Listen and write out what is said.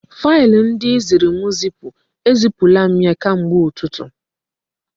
Faịlụ ndị ị ziri m zipu, e zipula m ya kemgbe ụtụtụ